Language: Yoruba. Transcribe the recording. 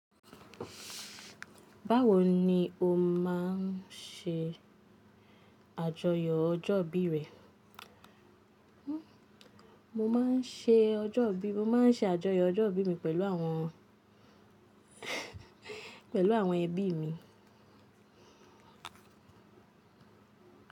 Báwo ni o máa ń ṣe àjọyọ̀ ọjọ́ ìbí rẹ? Mo máa ń ṣe ọjọ́ ìbí mi, mo máa ń ṣe àjọyọ̀ ọjọ́ ìbí mi pẹ̀lú àwọn, pẹ̀lú àwọn ẹbí mi.